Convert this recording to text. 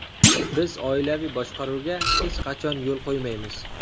Biz oilaviy boshqaruvga hech qachon yo‘l qo‘ymaymiz!